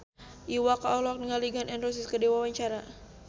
Iwa K olohok ningali Gun N Roses keur diwawancara